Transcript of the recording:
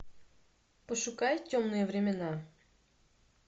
пошукай темные времена